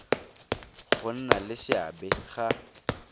go nna le seabe ga